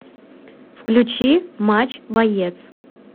включи матч боец